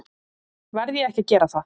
Verð ég ekki að gera það?